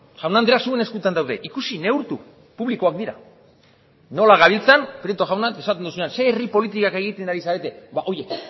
jaun andreak zuen eskuetan daude ikusi neurtu publikoak dira nola gabiltzan prieto jauna esaten duzunean ze herri politikak egiten ari zarete ba horiek